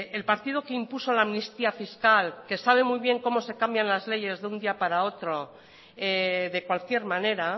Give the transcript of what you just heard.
el partido que impuso la amnistía fiscal que sabe muy bien cómo se cambian las leyes de un día para otro de cualquier manera